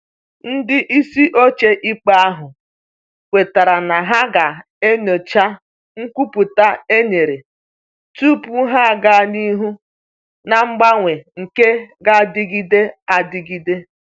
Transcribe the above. Ndị isi ochie ikpe ahụ kwetara na ha ga enyocha nkwupụta e nyere tupu ha aga n'ihu na mgbanwe nke g'adịgide adịgide.